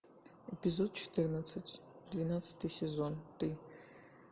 эпизод четырнадцать двенадцатый сезон ты